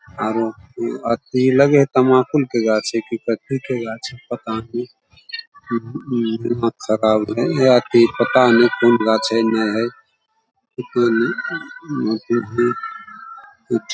आरो अथी लगे हेय तमाकुल के गाँछ हेय की कथी के गाँछ हेय पता ने दिमाग खराब हेय पता ने कोन गाँछ हेय ने हेय कोई नहीं